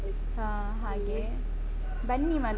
ಹ ಹಾಗೆ. ಬನ್ನಿ ಮಾತ್ರ.